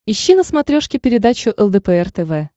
ищи на смотрешке передачу лдпр тв